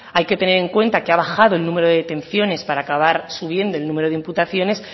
hay que tener en cuenta que ha bajado el número de detenciones para acabar subiendo el número de imputaciones